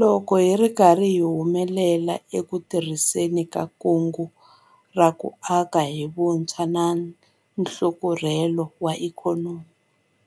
Loko hi ri karhi hi humelela eku tirhiseni ka Kungu ra ku Aka hi Vutshwa na Nhlakarhelo wa Ikhonomi